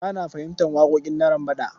Ba na fahimtar waƙoƙin Narambaɗa.